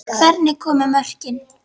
Hvernig komu mörkin?